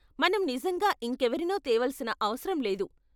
మనం నిజంగా ఇంకెవరినో తేవలసిన అవసరం లేదు.